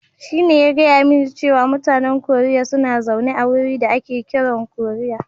Shine ya gaya mani cewa mutanen Koriya suna zaune a wuri da ake kiran Koriya.